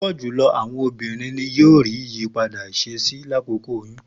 Pupọ julọ awọn obinrin ni iriri awọn iyipada iṣesi lakoko oyun